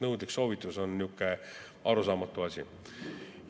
Nõudlik soovitus on natuke arusaamatu asi.